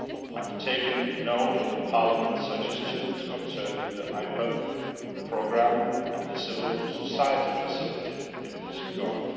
I have taken good note of Parliament's suggestions concerning the IPA programme and the Civil Society Facility in this regard.